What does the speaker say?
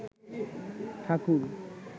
ঠাকুর